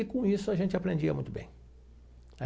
E com isso a gente aprendia muito bem.